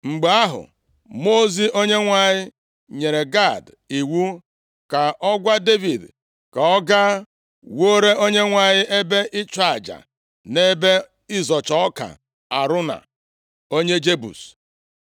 Mgbe ahụ, mmụọ ozi Onyenwe anyị nyere Gad iwu ka ọ gwa Devid, ka ọ gaa wuore Onyenwe anyị ebe ịchụ aja nʼebe ịzọcha ọka Arauna, onye Jebus.